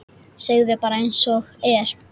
Segðu bara einsog er.